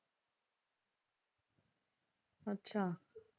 ਅੱਛਾ।